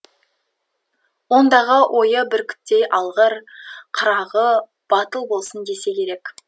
ондағы ойы бүркіттей алғыр қырағы батыл болсын десе керек